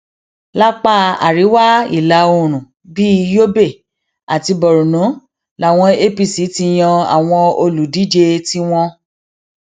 lápá àríwá ìlà oòrùn bíi yobe àti borno làwọn apc ti yan àwọn olùdíje tiwọn